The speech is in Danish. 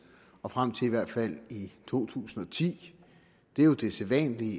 og frem til i hvert fald to tusind og ti det er jo det sædvanlige